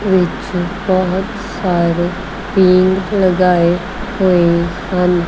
ਇਸ ਵਿੱਚ ਬਹੁਤ ਸਾਰੇ ਪੇੜ ਲਗਾਏ ਹੋਏ ਹਨ।